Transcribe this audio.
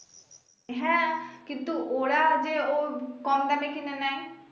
হ্যা কিন্তু ওরা যে ওর company কিনে নেয়